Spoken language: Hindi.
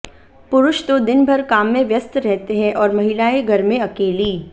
पुरुष तो दिन भर काम में व्यस्त रहते हैं और महिलाएं घर में अकेली